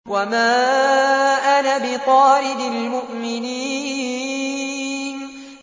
وَمَا أَنَا بِطَارِدِ الْمُؤْمِنِينَ